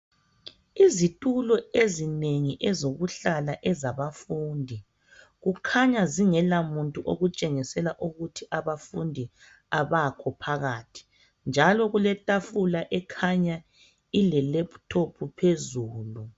Izitulo ezinengi ezokuhlala ezabafundi kukhanya zingelamuntu okutshengisel ukuthi abafundi abakho phakathi njalo kuletafula ekhanya ilelephuthophu phezulu.